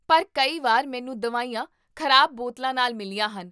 ਪਰ ਕਈ ਵਾਰ ਮੈਨੂੰ ਦਵਾਈਆਂ ਖ਼ਰਾਬ ਬੋਤਲਾਂ ਨਾਲ ਮਿਲੀਆਂ ਹਨ